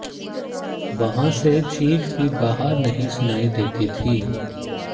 वहां से चीख भी बाहर नहीं सुनाई देती थी